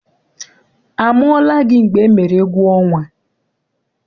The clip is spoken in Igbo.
A mụọla gị mgbe emere egwuọnwa?